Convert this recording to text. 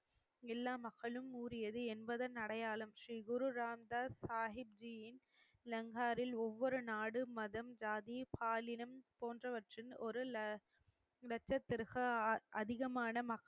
எல்லா மக்களும் ஊறியது என்பதன் அடையாளம் ஸ்ரீகுரு ராம்தாஸ் சாஹிப்ஜியின் லங்காரில் ஒவ்வொரு நாடும் மதம் ஜாதி பாலினம் போன்றவற்றின் ஒரு ல லட்சத்திரக அதிகமான